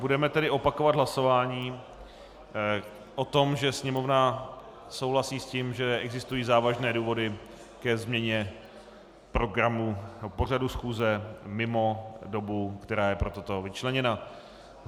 Budeme tedy opakovat hlasování o tom, že Sněmovna souhlasí s tím, že existují závažné důvody ke změně programu pořadu schůze mimo dobu, která je pro toto vyčleněna.